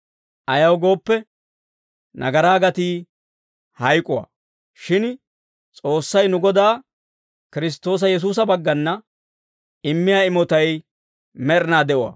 Ayaw gooppe, nagaraa gatii hayk'uwaa. Shin S'oossay nu Godaa Kiristtoosa Yesuusa baggana immiyaa imotay med'inaa de'uwaa.